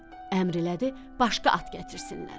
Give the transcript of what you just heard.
Əmr elədi, başqa at gətirsinlər.